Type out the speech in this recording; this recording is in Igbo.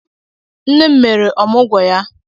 Nne m mere ọmụgwọ ya.